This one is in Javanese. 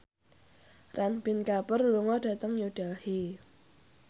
Ranbir Kapoor lunga dhateng New Delhi